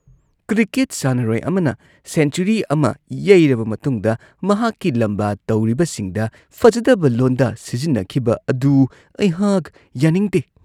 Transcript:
Cricket ꯁꯥꯟꯅꯔꯣꯏ ꯑꯃꯅ century ꯑꯃ ꯌꯩꯔꯕ ꯃꯇꯨꯡꯗ ꯃꯍꯥꯛꯀꯤ ꯂꯝꯕꯥ ꯇꯧꯔꯤꯕꯁꯤꯡꯗ ꯐꯖꯗꯕ ꯂꯣꯟꯗꯥ ꯁꯤꯖꯤꯟꯅꯈꯤꯕ ꯑꯗꯨ ꯑꯩꯍꯥꯛ ꯌꯥꯅꯤꯡꯗꯦ ꯫